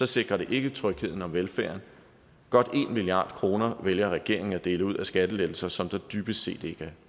sikrer det ikke trygheden og velfærden godt en milliard kroner vælger regeringen at dele ud til skattelettelser som der dybest set ikke